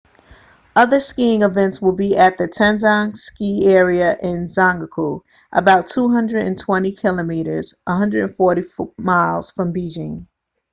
other skiing events will be at the taizicheng ski area in zhangjiakou about 220 km 140 miles from beijing